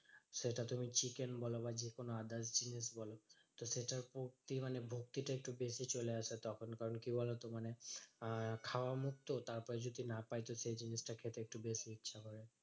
সেটা তুমি chicken বলো বা যেকোনো others জিনিস বলো তো সেটার ভক্তি মানে ভক্তি টা একটু বেশি চলে আসে তখন। কারণ কি বলতো? মানে আহ খাওয়া মুখ তো তারপরে যদি না পাই তো সেই জিনিসটা খেতে একটু বেশ ইচ্ছা করে।